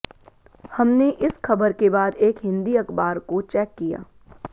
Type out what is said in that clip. हमने इस ख़बर के बाद एक हिंदी अख़बार को चेक किया